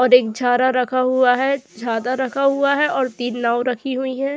और एक झारा रखा हुआ है झारा रखा हुआ है और तीन नाव रखी हुईं हैं।